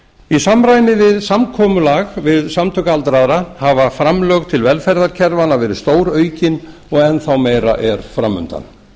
í samræmi við samkomulag við samtök aldraðra hafa framlög til velferðarkerfanna verið stóraukin og enn þá meira er fram undan